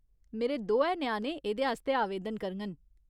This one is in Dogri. मेरे दोऐ ञ्याणे एह्दे आस्तै आवेदन करङन।